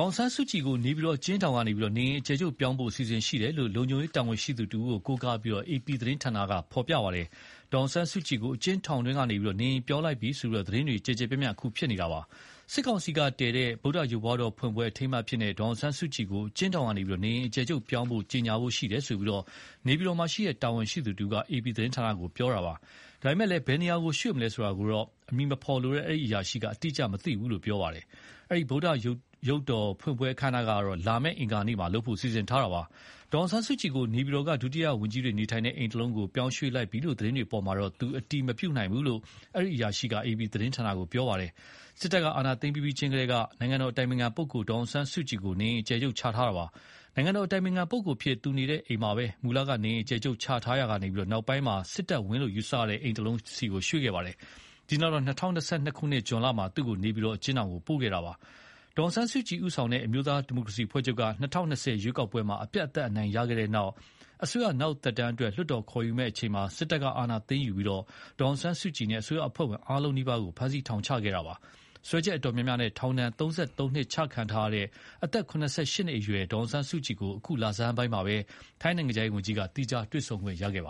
ောင်ဆန်းစုကြည်ကို နေပြည်တော်အကျဉ်းထောင်ကနေ နေအိမ်အကျယ်ချုပ်ပြောင်းဖို့ အစီအစဉ် ရှိတယ်လို့ လုံခြုံရေးတာဝန်ရှိသူတဦးကို ကိုးကားပြီး အေပီသတင်းဌာနက ဖော်ပြခဲ့ပါတယ်။ ဒေါ်အောင်ဆန်းစုကြည်ကို အကျဉ်းထောင်တွင်းကနေ နေအိမ်ပြောင်းလိုက်ပြီလို့ သတင်းတွေလည်း ကျယ်ကျယ်ပြန့်ပြန်ဖြစ်နေတာပါ။ စစ်ကောင်စီကတည်တဲ့ ဗုဒ္ဓရုပ်ပွားတော်ကြီးဖွင့်ပွဲအထိမ်းအမှတ်အဖြစ်နဲ့ ဒေါ်အောင်ဆန်းစုကြည်ကို အကျဉ်းထောင်ကနေ နေအိမ်အကျယ်ချုပ်ပြောင်းဖို့ ကြေညာဖို့ရှိတယ်ဆိုပြီး နေပြည်တော်မှာရှိတဲ့ တာဝန်ရှိသူတဦးက အေပီသတင်းဌာနကို ပြောဆိုတယ်လို့ရေးပါတယ်။ ဒါပေမယ့် ဘယ်နေရာကို ရွေ့မလဲဆိုတာတော့ အမည်မဖော်လိုတဲ့ အဲဒီအရာရှိက သူအတိအကျမသိဘူးလို့ ပြောပါ တယ်။ အဲဒီ ဗုဒ္ဓရုပ်ပွားတော်ဖွင့်ပွဲအခမ်းအနားက လာမယ့်အပတ် အင်္ဂါနေ့လုပ်ဖို့ စီစဉ်ထားတာပါ။ ဒေါ်အောင်ဆန်းစုကြည်ကို နေပြည်တော်က ဒုတိယဝန်ကြီးတွေနေထိုင်တဲ့အိမ်တခုကို ပြောင်းရွေ့လိုက်ပြီ ဆိုတဲ့ သတင်းတွေအပေါ်မှာတော့ သူ အတည်မပြုနိုင်ဘူးလို့ အဲဒီ အရာရှိက အေပီသတင်းဌာနကို ပြောပါ တယ်။ စစ်တပ်ကအာဏာသိမ်းပြီးပြီးချင်းကတည်းက နိုင်ငံတော်အတိုင်ပင်ခံပုဂ္ဂိုလ် ဒေါ်အောင်ဆန်းစု ကြည်ကို နေအိမ်အကျယ်ချုပ်ချခဲ့တာပါ။ နိုင်ငံတော်အတိုင်ပင်ခံပုဂ္ဂိုလ်အဖြစ် သူနေတဲ့အိမ်မှာပဲ မူလက နေအိမ်အကျယ်ချုပ်ချထားရာကနေ နောက်ပိုင်း စစ်တပ်ဝန်းလို့ ယူဆရတဲ့အိမ်တလုံးဆီ ရွှေ့ခဲ့ပါတယ်။ အဲဒီနောက် ၂၀၂၂ ခုနှစ်၊ဇွန်လမှာသူ့ကိုနေပြည်တော်အကျဉ်းထောင်ကို ပို့ခဲ့တာပါ။ဒေါ်အောင်ဆန်းစုကြည် ဦးဆောင်တဲ့ အမျိုးသားဒီမိုကရေစီအဖွဲ့ချုပ်က ၂၀၂၀ ရွေးကောက်ပွဲမှာ အပြတ်အသတ်အနိုင်ရခဲ့တဲ့ နောက်၊ အစိုးရနောက်သက်တမ်းအတွက် လွှတ်တော်ခေါ်ယူမယ့်အချိန်မှာ စစ်တပ်က အာဏာသိမ်းပြီး ဒေါ်အောင်ဆန်းစုကြည်နဲ့ အစိုးရအဖွဲ့ဝင်အားလုံးနီးပါးကို ဖမ်းဆီးထောင်ချခဲ့တာပါ။ စွဲချက်အတော်များများနဲ့ထောင်ဒဏ် ၃၃နှစ်ချခံထားရတဲ့ အသက် ၇၈နှစ်အရွယ် ဒေါ်အောင်ဆန်းစုကြည် ကို အခုလဆန်းပိုင်းမှာ ထိုင်းနိုင်ငံခြားရေးဝန်ကြီး သီးခြားတွေ့ဆုံခွင့်ရခဲ့ပ